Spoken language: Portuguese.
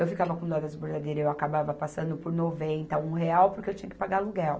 Eu ficava com dó das bordadeiras e eu acabava passando por noventa, um real porque eu tinha que pagar aluguel.